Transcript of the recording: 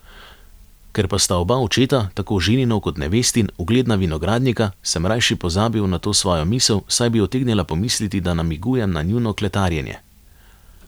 Ker pa sta oba očeta, tako ženinov kot nevestin, ugledna vinogradnika, sem rajši pozabil na to svojo misel, saj bi utegnila pomisliti, da namigujem na njuno kletarjenje.